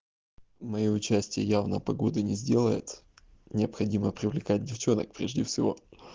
моё участие явно погоды не сделает необходимо привлекать девчонок прежде всего